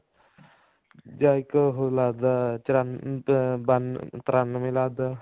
ਜਾਂ ਇੱਕ ਉਹ ਲੱਗਦਾ ਬਾਨਵੇਂ ਤ੍ਰਨਾਵੇਂ ਲੱਗਦਾ